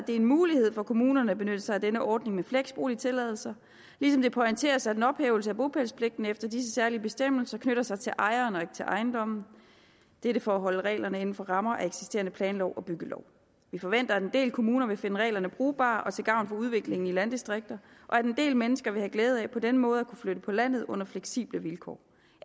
det er en mulighed for kommunerne at benytte sig af denne ordning med flexboligtilladelser ligesom det pointeres at en ophævelse af bopælspligten efter disse særlige bestemmelser knytter sig til ejeren og ikke til ejendommen dette for at holde reglerne inden for rammerne af eksisterende planlov og byggelov vi forventer at en del kommuner vil finde reglerne brugbare og til gavn for udviklingen i landdistrikterne og at en del mennesker vil have glæde af på denne måde at kunne flytte på landet under fleksible vilkår